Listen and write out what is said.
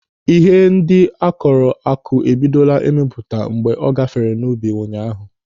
Ihe ndị akụrụ akụ ebidogo ịmịpụta mgbe m gafere n'ubi ụnyaahụ.